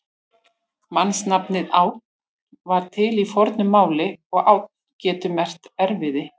Mannsnafnið Ánn var til í fornu máli og ánn getur merkt erfiði.